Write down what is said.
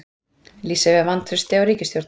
Lýsa yfir vantrausti á ríkisstjórn